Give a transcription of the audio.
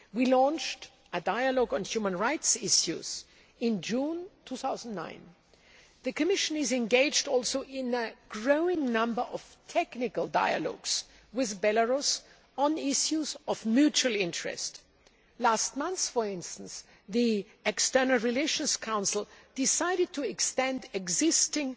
We launched a dialogue on human rights issues in June 2009. The Commission is engaged in a growing number of technical dialogues with Belarus on issues of mutual interest. Last month, for instance, the External Relations Council decided to extend existing